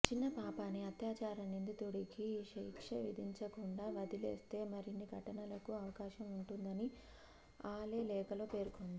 చిన్న పాప అని అత్యచార నిందితుడికి శిక్ష విధించకుండా వదిలేస్తే మరిన్ని ఘటనలకు అవకాశం ఉంటుందని ఆలే లేఖలో పేర్కోంది